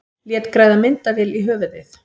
Lét græða myndavél í höfuðið